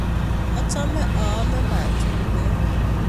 Achome aame machungwek